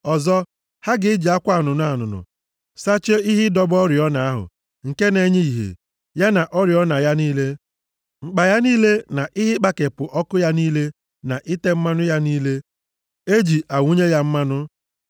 “Ọzọ, ha ga-eji akwa anụnụ anụnụ sachie ihe ịdọba oriọna ahụ nke na-enye ìhè, ya na oriọna ya niile, mkpa ya niile na ihe ịkpakepụ ọkụ ya niile na ite mmanụ ya niile, e ji awụnye ya mmanụ.